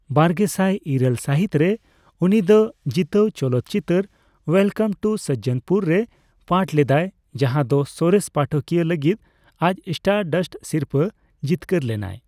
ᱵᱟᱨᱜᱮᱥᱟᱭ ᱤᱨᱟᱹᱞ ᱥᱟᱹᱦᱤᱛ ᱨᱮ, ᱩᱱᱤ ᱫᱚ ᱡᱤᱛᱟᱹᱣ ᱪᱚᱞᱚᱛ ᱪᱤᱛᱟᱹᱨ ᱳᱭᱮᱞᱠᱟᱢ ᱴᱩ ᱥᱚᱡᱽᱡᱚᱱᱯᱩᱨ ᱨᱮ ᱯᱟᱴᱷ ᱞᱮᱫᱟᱭ, ᱡᱟᱦᱟ ᱫᱚ ᱥᱚᱨᱮᱥ ᱯᱟᱴᱷᱚᱠᱤᱭᱟᱹ ᱞᱟᱹᱜᱤᱫ ᱟᱡ ᱥᱴᱟᱨᱰᱟᱥᱴ ᱥᱤᱨᱯᱟᱹ ᱡᱤᱛᱠᱟᱹᱨ ᱞᱮᱱᱟᱭ ᱾